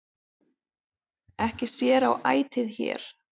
Ekki sér á ætið hér,